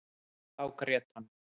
Þá grét hann.